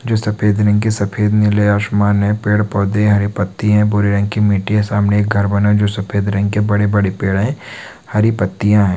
जो सफेद रंग के सफेद-नीले आसमान है। पेड़-पौधे हैं। हरे पत्ती है। भूरे रंग की मिट्टी है। सामने एक घर बना है। जो सफेद रंग के बड़े-बड़े पेड़ है। हरी पत्तियाँ है।